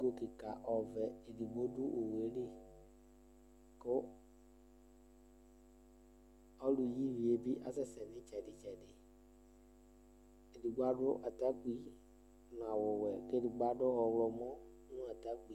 Ɛga ɔvɛ edigbo du owu yɛ li Ku ɔlu yi ivi yɛ bi yɛ bi asɛsɛ itsɛdi Edigbo adu atakpe nu awu wɛ ku edigbo adu ɔɣlɔ moi